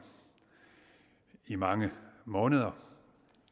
i mange måneder